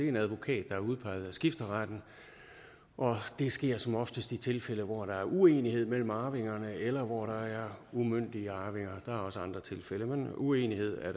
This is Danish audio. en advokat der er udpeget af skifteretten det sker som oftest i tilfælde hvor der er uenighed mellem arvingerne eller hvor der er umyndige arvinger der er også andre tilfælde men uenighed er